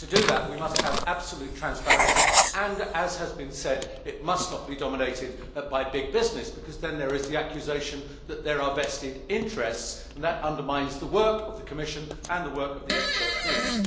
To do that, we must have absolute transparency and, as has been said, they must not be dominated by big business, because this leads to the accusation of there being vested interests, and that undermines the work of the Commission and the work of the expert groups.